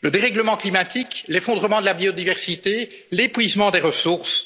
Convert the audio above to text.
Le dérèglement climatique, l'effondrement de la biodiversité, l'épuisement des